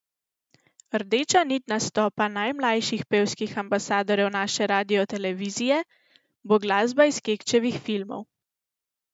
Rdeča nit nastopa najmlajših pevskih ambasadorjev naše radiotelevizije bo glasba iz Kekčevih filmov.